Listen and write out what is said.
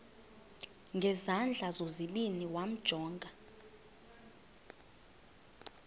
ngezandla zozibini yamjonga